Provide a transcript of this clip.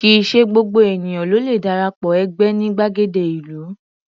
Kì í ṣe gbogbo ènìyàn ló le dara pọ̀ ẹgbẹ́ ní gbàgede ìlú.